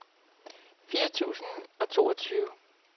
fire tusind og toogtyve